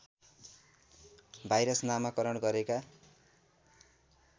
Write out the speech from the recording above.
virus नामाकरण गरेका